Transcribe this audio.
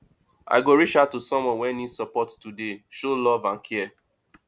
i go reach out to someone wey need support today show love and care